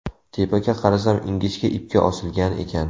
Tepaga qarasam ingichka ipga osilgan ekan.